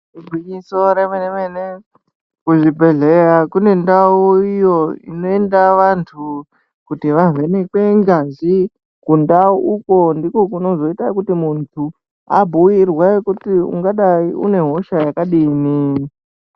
Igwinyiso remene-mene, kuzvibhedhleya kune ndau iyo inoenda vantu kuti vavhenekwe ngazi. Kundau uko ndiko kunozoenda vantu ,kuti abhuirwe kuti, ungadai une hosha yakadini.